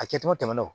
A kɛcogo tɛmɛna o